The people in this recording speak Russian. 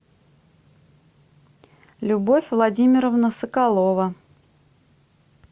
любовь владимировна соколова